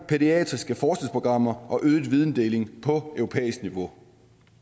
pædiatriske forskningsprogrammer og øget videndeling på europæisk niveau